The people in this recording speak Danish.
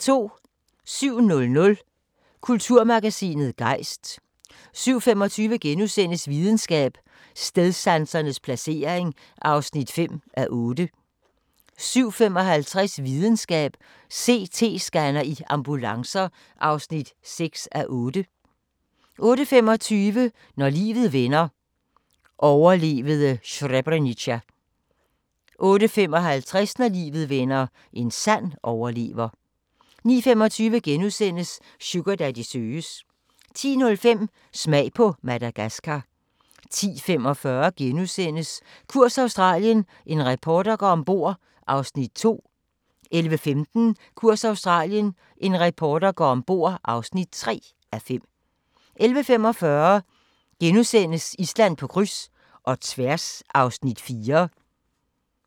07:00: Kulturmagasinet Gejst 07:25: Videnskab: Stedsansens placering (5:8)* 07:55: Videnskab: CT-scanner i ambulancer (6:8) 08:25: Når livet vender – overlevede Srebrenica 08:55: Når livet vender – en sand overlever 09:25: Sugardaddy søges * 10:05: Smag på Madagaskar 10:45: Kurs Australien – en reporter går ombord (2:5)* 11:15: Kurs Australien – en reporter går ombord (3:5) 11:45: Island på kryds – og tværs (4:6)*